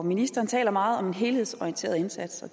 ministeren taler meget om en helhedsorienteret indsats